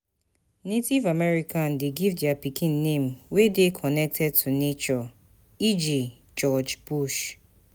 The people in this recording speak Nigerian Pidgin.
Native American de give their pikin name wey de connected to nature e.g. George Bush